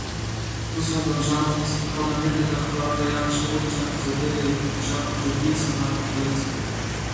Tu so Domžalčani s prihodom mirnega Hrvata Jakše Vulića zadeli žebljico na glavico.